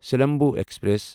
Silambu express